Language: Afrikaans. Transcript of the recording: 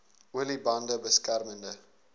olie bande beskermende